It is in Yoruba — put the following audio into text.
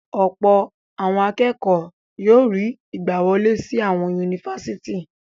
Ọ̀pọ̀ àwọn akẹ́kọ̀ọ́ yóò rí ìgbàwọlé sí àwọn yunifásítì.